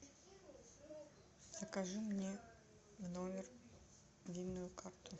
закажи мне в номер винную карту